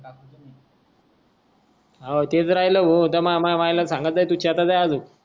हाओ त्याच तर राहिलो हो तो माह मामा सांगतलं तू